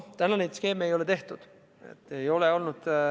Täna neid skeeme tehtud ei ole.